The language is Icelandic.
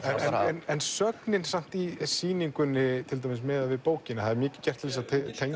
en sögnin samt í sýningunni miðað við bókina það er mikið gert til þess að